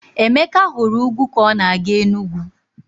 Emeka hụrụ ugwu ka ọ na-aga Enugwu.